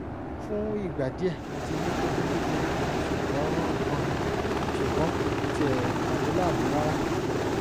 fún ìgbà díẹ̀ mo ti ní kókó kékeré kan ṣùgbọ́n kan ṣùgbọ́n kò tiẹ̀ dà mí láàmú rárá